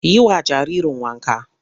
Yi wa jaririn wanka!